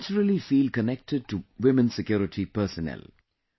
They naturally feel connected to women security personnel